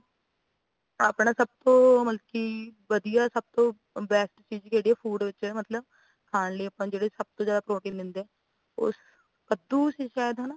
ਆਪਣਾ ਸਬ ਤੋਂ ਬਲਕਿ ਵਧੀਆ ਸਬ ਤੋਂ best ਚੀਜ਼ ਕੇਡੀ ਹੈ food ਵਿੱਚ ਮਤਲਬ ਖਾਨ ਲਾਈਏ ਜਿੰਦੇ ਵਿੱਚ ਸਬਤੋ ਜਾਂਦਾ protein ਦੇਂਦੇ ਉਸ ਕੱਦੂ ਸੀ ਸ਼ਾਯਦ